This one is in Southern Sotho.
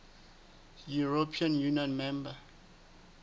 european union member